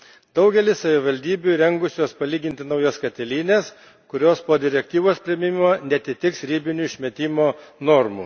Daugelis savivaldybių įrengusios palyginti naujas katilines, kurios, po direktyvos priėmimo, neatitiks ribinių išmetimo normų.